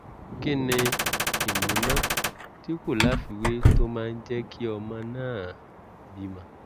kí ni ìmúná tí kò láfiwé tó máa ń jẹ́ kí ọmọ náà bímọ?